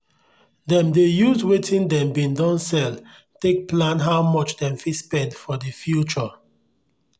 dem dey use wetin dem bin don sell take plan how much dem fit spend for the future.